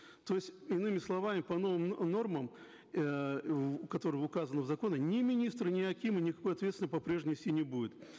то есть иными словами по новым нормам эээ которые указаны в законе ни министры ни акимы никакой ответственности по прежнему нести не будут